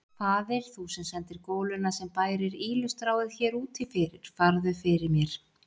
Faðir, þú sem sendir goluna sem bærir ýlustráið hér úti fyrir, farðu fyrir mér.